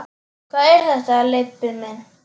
Hvað er þetta, Leibbi minn.